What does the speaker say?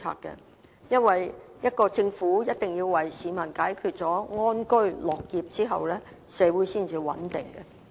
原因是，一個政府必須讓市民安居樂業，社會才會穩定。